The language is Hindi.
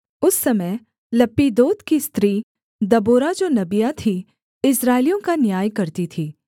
उस समय लप्पीदोत की स्त्री दबोरा जो नबिया थी इस्राएलियों का न्याय करती थी